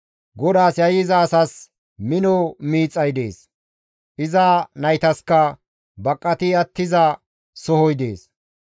GODAAS yayyiza asas mino miixay dees; iza naytaska baqati attiza sohoy dees.